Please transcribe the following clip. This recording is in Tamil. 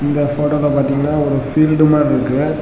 இந்த ஃபோட்டோல பாத்தீங்கனா ஒரு ஃபீல்ட் மாறி இருக்கு.